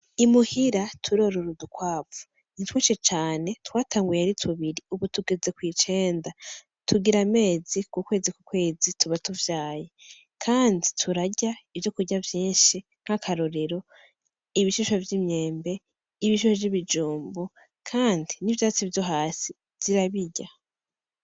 Imuhira turor'udukwavu twinshi cane twatanguye ari tubiri ubu tugeze kwicenda tugir'amezi, kukwezi kukwezi tuba tuvyaye kandi turya ivyokurya vyinshi nk' akarorero :ibishishwa vy'imyembe, ibishishwavy'ibijumbu kandi n'ivyatsi vyo hasi zirabirya.